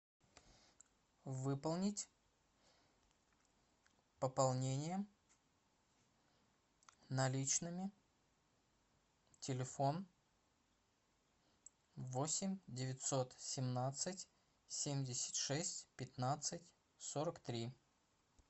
выполнить пополнение наличными телефон восемь девятьсот семнадцать семьдесят шесть пятнадцать сорок три